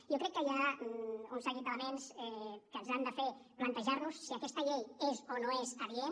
jo crec que hi ha un seguit d’elements que ens han de fer plantejar nos si aquesta llei és o no és adient